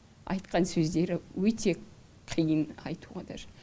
айтқан сөздері өте қиын айтуға даже